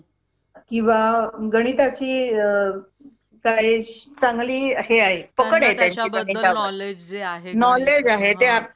अं ठीके madam पण तरी मला खर्च थोडा जास्तच वाटतोय थो दुसरा काही option नाही का madam ह्याच्यासाठी आमी actually परिस्थिती आर्थिक परिस्थिती अशी थोडी विकआणि त्या साठी मी तुम्हाला हे,